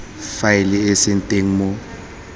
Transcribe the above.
faele e seng teng mo